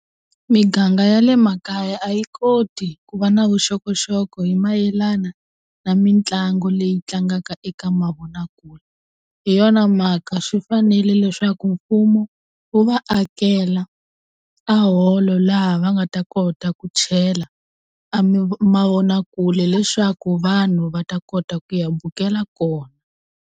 Miganga ya le makaya a yi koti ku va na vuxokoxoko hi mayelana na mitlangu leyi tlangaka eka mavonakule hi yona mhaka swi fanele leswaku mfumo wu va akela a holo laha va nga ta kota ku chela a mavonakule leswaku vanhu va ta kota ku ya bukela kona.